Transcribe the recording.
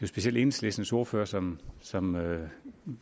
specielt enhedslistens ordfører som som